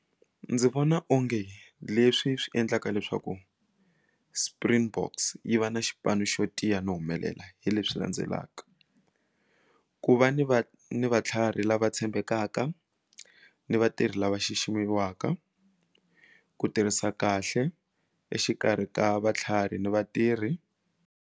Ndzi vona onge leswi swi endlaka leswaku Springboks yi va na xipano xo tiya no humelela hi leswi landzelaka ku va ni va ni va matlharhi lava tshembekaka ni vatirhi lava xiximiwaka ku tirhisa kahle exikarhi ka vatlhari ni vatirhi.